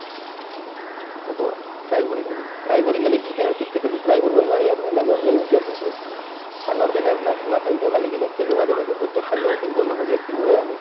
হ'ব try কৰি থাকিম try কৰি মানে কি তাৰ cricket তটো try কৰিব নোৱাৰি আৰু এনে normal নিজৰ যিনটো fund organiser না ধেমা খাই ধেমালি কিনে খেলো মাজে মাজে প্ৰত্যেক sun day officer বন্ধ থাকলে খেলোয়ে আমি